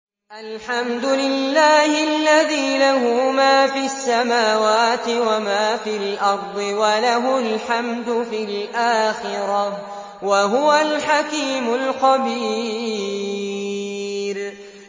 الْحَمْدُ لِلَّهِ الَّذِي لَهُ مَا فِي السَّمَاوَاتِ وَمَا فِي الْأَرْضِ وَلَهُ الْحَمْدُ فِي الْآخِرَةِ ۚ وَهُوَ الْحَكِيمُ الْخَبِيرُ